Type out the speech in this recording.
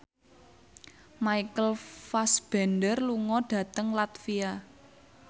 Michael Fassbender lunga dhateng latvia